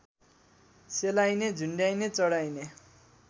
सेलाइने झुन्ड्याइने चढाइने